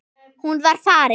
Hún var farin.